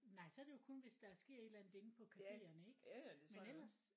Nej så er det jo kun hvis der sker et eller andet inde på caféerne ikke men ellers